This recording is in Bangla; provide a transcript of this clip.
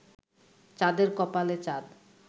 চাঁদের কপালে চাঁদ